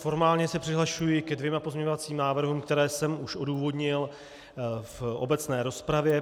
Formálně se přihlašuji ke dvěma pozměňovacím návrhům, které jsem už odůvodnil v obecné rozpravě.